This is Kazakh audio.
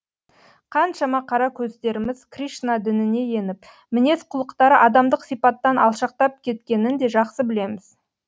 қаншама қара көздеріміз кришна дініне еніп мінез құлықтары адамдық сипаттан алшақтап кеткенін де жақсы білеміз